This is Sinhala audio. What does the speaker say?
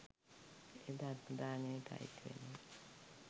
එය ධර්ම දානයට අයිති වෙනවා.